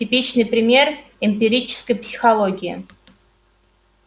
типичный пример эмпирической психологии